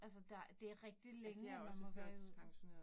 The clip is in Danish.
Altså der. Det rigtig længe, at man må være i ud